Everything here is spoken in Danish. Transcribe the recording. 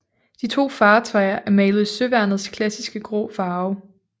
De to fartøjer er malet i søværnets klassiske grå farve